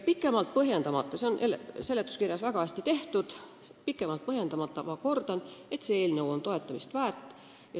Pikemalt põhjendamata – see on seletuskirjas väga hästi tehtud – ma kordan: see eelnõu on toetamist väärt.